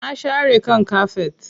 Na share kan kafet.